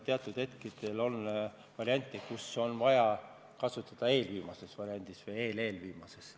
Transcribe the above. Teatud hetkedel on neid vahendeid vaja kasutada eelviimase variandina või eel-eelviimase variandina.